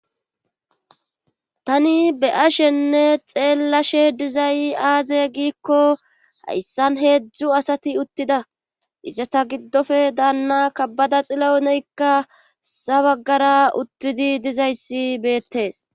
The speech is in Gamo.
Tani be ashenne xeellashe dizayi aaze giikko hayssan heedzdzu asati uttida izata giddofe daanna kabbada xilou neykka sabagara uttidi dizayssi beettees.